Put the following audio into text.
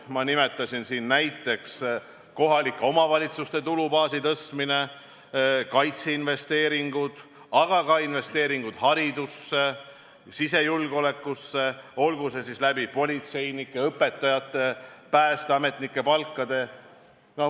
Ma nimetasin siin näiteks kohalike omavalitsuste tulubaasi tõstmist, kaitseinvesteeringuid, aga ka investeeringud haridusse, sisejulgeolekusse, olgu politseinike, õpetajate või päästeametnike palkadeks.